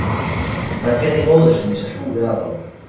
Hann heyrði í móður sinni sem hlúði að honum